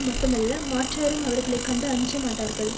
மட்டுமல்ல மாற்றாரும் அவர்களை கண்டு அஞ்ச மாட்டார்கள்